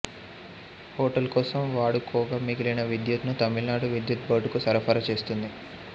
hotel కోసం వాడుకోగా మిగిలిన విద్యుత్ ను తమిళనాడు విద్యుత్ బోర్డుకు సరఫరా చేస్తోంది